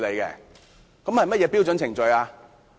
是甚麼標準程序？